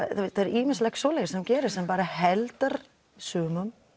ýmislegt svoleiðis sem gerist sem heldur sumum